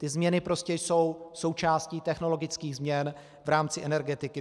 Ty změny prostě jsou součástí technologických změn v rámci energetiky.